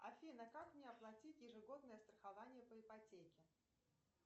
афина как мне оплатить ежегодное страхование по ипотеке